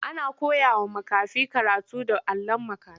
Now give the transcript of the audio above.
Ana koyawa makafi karatu da allon makafi.